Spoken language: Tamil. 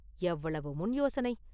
எவ்வளவு முன்யோசனை?